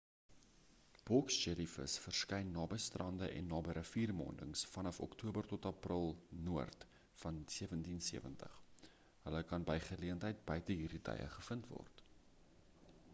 boks jellievis verskyn naby strande en naby riviermondings vanaf oktober tot april noord van 1770 hulle kan by geleentheid buite hierdie tye gevind word